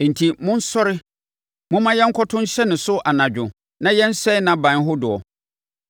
Enti, monsɔre momma yɛnkɔto nhyɛ ne so anadwo na yɛnsɛe nʼaban hodoɔ!”